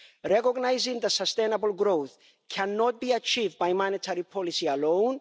Recognising the sustainable growth cannot be achieved by monetary policy alone.